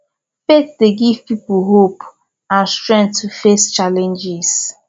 faith dey give people hope and strength to face challenges